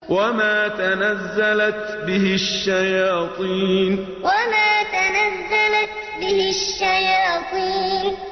وَمَا تَنَزَّلَتْ بِهِ الشَّيَاطِينُ وَمَا تَنَزَّلَتْ بِهِ الشَّيَاطِينُ